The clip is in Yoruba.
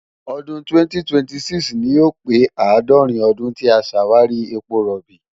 ọdún 2026 ni yóò pé àádọ́rin ọdún tí a ṣàwárí epo rọ̀bì.